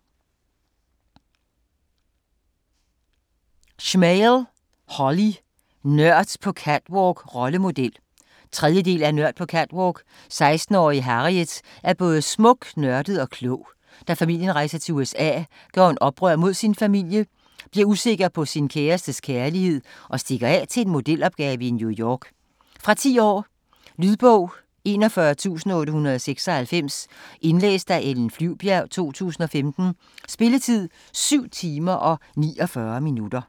Smale, Holly: Nørd på catwalk - rollemodel 3. del af Nørd på catwalk. 16-årige Harriet er både smuk, nørdet og klog. Da familien rejser til USA, gør hun oprør mod sin familie, bliver usikker på sin kærestes kærlighed og stikker af til en modelopgave i New York. Fra 10 år. Lydbog 41896 Indlæst af Ellen Flyvbjerg, 2015. Spilletid: 7 timer, 49 minutter.